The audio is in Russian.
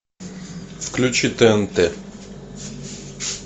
включи тнт